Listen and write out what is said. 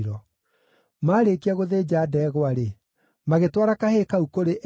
Maarĩkia gũthĩnja ndegwa-rĩ, magĩtwara kahĩĩ kau kũrĩ Eli,